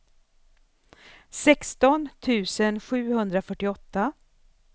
sexton tusen sjuhundrafyrtioåtta